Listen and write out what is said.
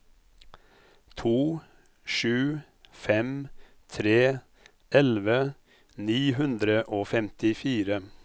to sju fem tre elleve ni hundre og femtifire